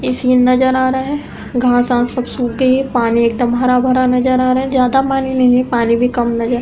ये सीन नजर आ रहा है। घास आस सब सूख गई है। पानी एकदम हरा भरा नजर आ रहा है। ज्यादा पानी नहीं है। पानी भी कम नजर --